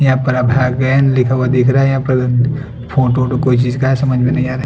यहाँ लिखा हुआ दिख रहा है यहाँ पर फोटो कोई चीज़ का है समझ में नही आ रहा है।